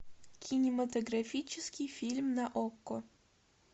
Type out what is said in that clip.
кинематографический фильм на окко